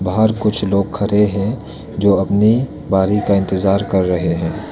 बाहर कुछ लोग खड़े है जो अपने बारी का इंतजार कर रहे है।